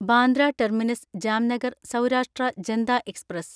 Bandra terminus Jamnagar Saurashtra Janta express